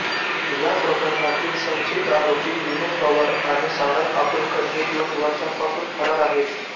या प्रकरणातील संशयित आरोपी विनय पवार आणि सारंग अकोलकर हे दोन वर्षांपासून फरार आहेत